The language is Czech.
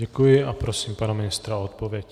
Děkuji a prosím pana ministra o odpověď.